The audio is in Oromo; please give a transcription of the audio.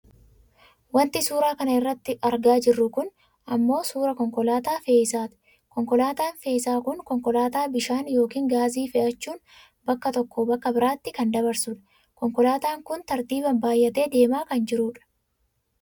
Wanti suuraa kana irratti argaa jirru kun ammoo suuraa konkolaataa fe'isaati. Konkolaataan fe'isaa kun konkolaataa bishaan yookaan gaazii fe'achuun bakka tokkoo bakka biraatti kan dabarsudha. Konkolaataan kun tartiibaan baayyatee deemaa kan jirudha.